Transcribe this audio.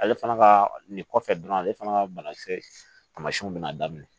Ale fana ka nin kɔfɛ dɔrɔn ale fana ka banakisɛ taamasiyɛnw bɛna daminɛ